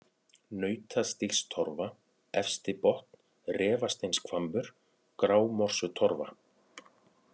Nautastígstorfa, Efstibotn, Refasteinshvammur, Grámorsutorfa